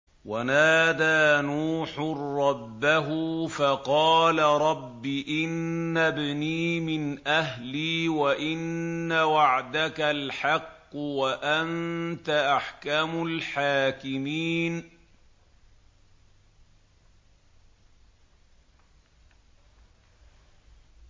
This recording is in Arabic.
وَنَادَىٰ نُوحٌ رَّبَّهُ فَقَالَ رَبِّ إِنَّ ابْنِي مِنْ أَهْلِي وَإِنَّ وَعْدَكَ الْحَقُّ وَأَنتَ أَحْكَمُ الْحَاكِمِينَ